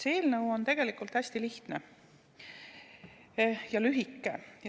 See eelnõu on tegelikult hästi lihtne ja lühike.